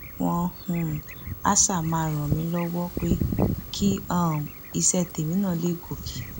wọn um áà ṣáà máa ràn mí lọwọ pé kí um iṣẹ tèmi náà lè gòkè